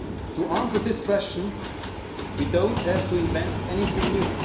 To answer this question we do not have to invent anything new.